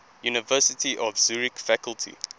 university of zurich faculty